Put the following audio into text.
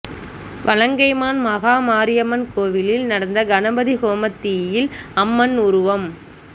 வலங்கைமான் மகாமாரியம்மன் கோயிலில் நடந்த கணபதி ஹோமத்தீயில் அம்மன் உருவம்